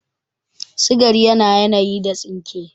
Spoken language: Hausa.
Sigari yana yanayi da tsinke